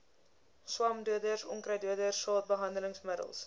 swamdoders onkruiddoders saadbehandelingsmiddels